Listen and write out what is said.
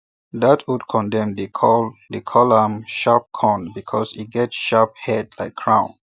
that old corndem dey call call am crown corn because e get sharp head like crown